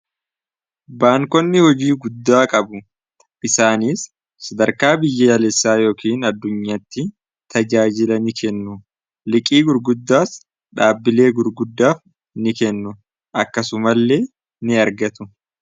Baankonni hojii guddaa qabu. Isaaniis sadarkaa biyyaalessaa yookin addunyaatti tajaajila ni kennu. Liqii gurguddaas dhaabbilee gurguddaaf ni kennu akkasumallee ni argatu.